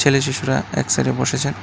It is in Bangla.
ছেলে শিশুরা এক সাইডে -এ বসেছে।